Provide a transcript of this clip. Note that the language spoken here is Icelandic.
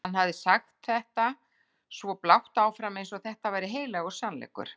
Hann hafði sagt þetta svo blátt áfram eins og þetta væri heilagur sannleikur.